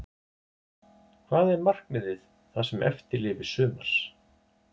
Hvað er markmiðið það sem eftir lifir sumars?